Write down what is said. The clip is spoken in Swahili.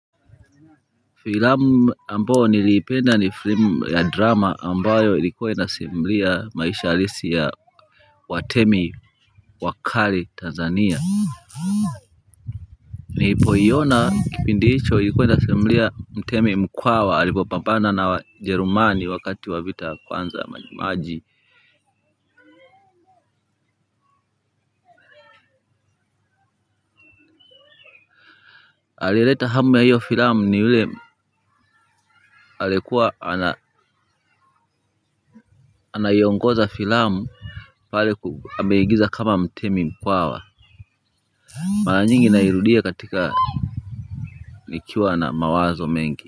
Filamu ambayo niliipenda ni filamu ya drama ambayo ilikuwa inasimulia maisha halisi ya watemi wakali Tanzania. Niliiona kipindi hicho ilikuwa inasimulia Mtemi Mkwawa alipopambana na Wajerumani wakati wa vita vya kwanza vya Maji Maji. Alileta hamu ya hiyo filamu ni ule alikuwa anaiongoza filamu pale ameigiza kama mtemi mkwawa mara nyingi nairudia katika nikiwa na mawazo mengi.